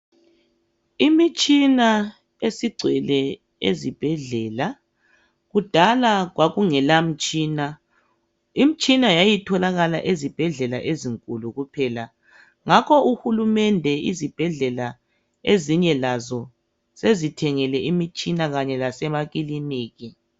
Imitshina esigcwele ezibhedlela kudala kwakungela mtshina. Imitshina yayitholakala ezibhedlela ezinkulu kuphela ngakho uhulumende izibhedlela ezinye lazo sezithengele imitshina kanye lasemakilinika.